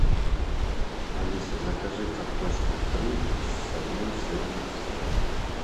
алиса закажи картошку фри с одним сырным соусом